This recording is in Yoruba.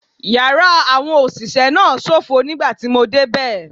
Yàrá àwọn òṣìṣẹ́ náà ṣófo nígbà tí mo dé bẹ̀.